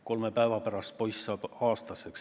Kolme päeva pärast poiss saab aastaseks.